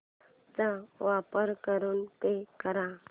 चा वापर करून पे कर